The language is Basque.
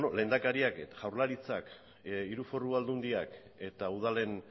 lehendakariak jaurlaritzak hiru foru aldundiak eta udalen